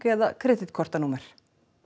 eða kreditkortanúmer